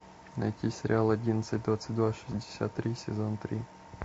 найти сериал одиннадцать двадцать два шестьдесят три сезон три